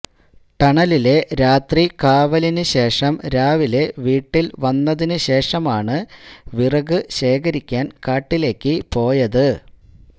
ടണലിലെ രാത്രി കാവലിനു ശേഷം രാവിലെ വീട്ടിൽ വന്നതിനു ശേഷമാണ് വിറക് ശേഖരിക്കാൻ കാട്ടിലേയ്ക്ക് പോയത്